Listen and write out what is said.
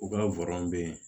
U ka bɛ yen